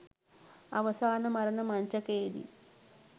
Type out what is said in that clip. අවසාන මරණ මංචකයේදී